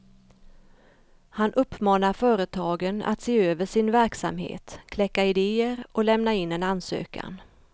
Han uppmanar företagen att se över sin verksamhet, kläcka idéer och lämna in en ansökan.